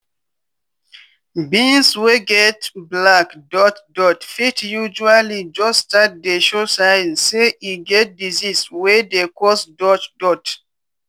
beans wey get black dot dot fit usually jus start to dey show sign say e get disease wey dey cause dot dot.